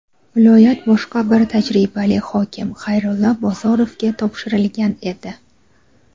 viloyat boshqa bir tajribali hokim – Xayrulla Bozorovga topshirilgan edi.